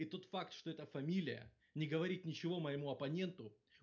и тот факт что это фамилия не говорит ничего моему оппоненту